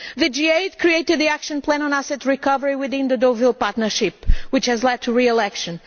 The G8 created the action plan on asset recovery within the Deauville Partnership which has led to real action.